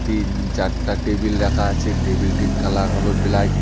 তিন চারটা টেবিল রাখা আছে টেবিল -টির কালার হল ব্ল্যাক ।